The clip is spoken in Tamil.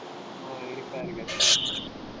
ஆஹ் இருக்கிறார்கள்